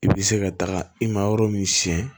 I bɛ se ka taga i ma yɔrɔ min siɲɛ